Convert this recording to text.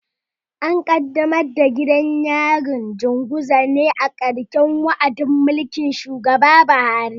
An kaddamar da gidan yarin Janguza ne a ƙarshen wa'adin mulkin shugaba Buhari.